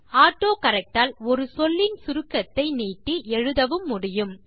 autocorrect ஆல் ஒரு சொல்லின் சுருக்கத்தை நீட்டி எழுதவும் முடியும்